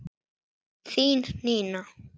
Þín Nína.